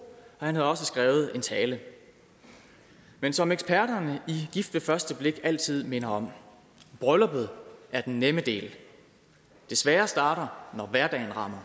og han havde også skrevet en tale men som eksperterne i gift ved første blik altid minder om brylluppet er den nemme del det svære starter når hverdagen rammer